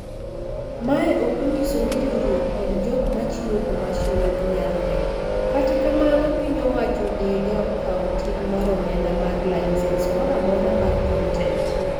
Mae ok onyiso ni riuruok kod jok ma chiwo commercial oknyalre, kata kamano piny owacho onega okaw ting mar omenda mar licence mora mora mar kontent.